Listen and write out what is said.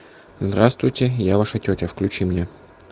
здравствуйте я ваша тетя включи мне